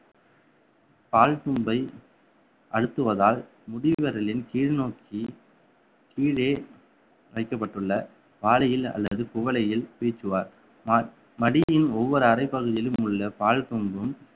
பால் கூம்பை அழுத்துவதால் முடிவிரலின் கீழ் நோக்கி கீழே வைக்கப்பட்டுள்ள வாளியில் அல்லது குவளையில் பீச்சுவார் ம~ மடியின் ஒவ்வொரு அறைப்பகுதியிலும் உள்ள பால்